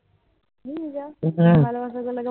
ভালোবাসা করলে কেউ